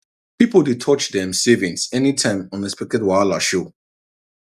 people dey touch dem savings any time unexpected wahala show